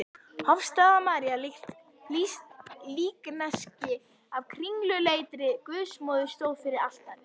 Hofsstaða-María, svart líkneski af kringluleitri Guðsmóður, stóð fyrir altari.